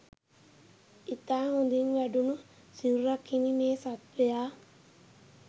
ඉතා හොඳින් වැඩුණු සිරුරක් හිමි මේ සත්ත්වයා